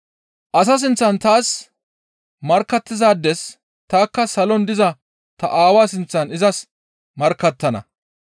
«Asa sinththan taas markkattizaades tanikka salon diza ta Aawaa sinththan izaades markkattana.